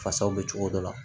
Fasaw bɛ cogo dɔ la